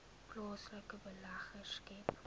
plaaslike beleggers skep